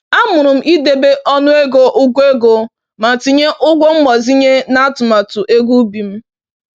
Amụrụ m ịdebe ọnụego ụgwọ ego ma tinye ụgwọ mgbazinye n’atụmatụ ego ubi m